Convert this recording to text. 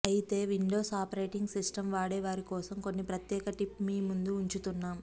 అయితే windows operating systems వాడే వారి కోసం కొన్ని ప్రత్యేక టిప్ మీ ముందు ఉంచుతున్నాం